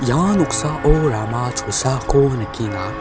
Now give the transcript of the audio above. ia noksao rama cholsako nikenga.